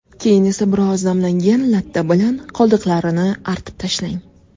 Keyin esa biroz namlangan latta bilan qoldiqlarini artib tashlang.